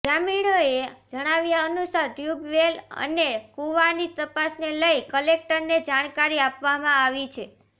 ગ્રામીણોએ જણાવ્યા અનુસાર ટ્યૂબવેલ અને કુવાની તપાસને લઇને કલેક્ટરને જાણકારી આપવામાં આવી છે